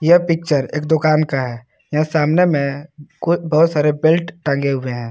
यह पिक्चर एक दुकान का है यहां सामने में कोई बहुत सारे बेल्ट टंगे हुए हैं।